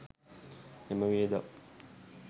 එම වියදම්